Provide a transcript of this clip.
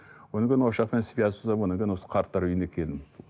одан кейін осы жақтан связь ұстап одан кейін осы қарттар үйіне келдім